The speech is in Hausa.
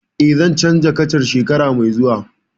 Eh, zan canza kacan shekara mai zuwa